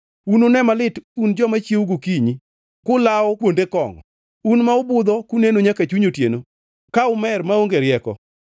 Unune malit un joma chiewo gokinyi kulawo kuonde kongʼo, un ma ubudho kuneno nyaka chuny otieno ka umer maonge rieko.